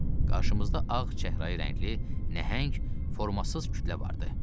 Qarşımızda ağ, çəhrayı rəngli, nəhəng, formasız kütlə vardı.